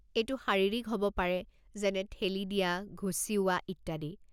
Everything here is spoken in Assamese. এইটো শাৰীৰিক হ'ব পাৰে যেনে ঠেলি দিয়া, ঘুচিওৱা ইত্যাদি।